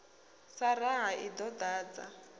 sa raha i ḓo dadza